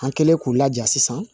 An kɛlen k'u laja sisan